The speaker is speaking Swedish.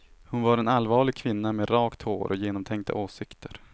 Hon var en allvarlig kvinna med rakt hår och genomtänkta åsikter.